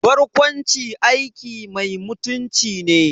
Barkwanci aiki mai mutunci ne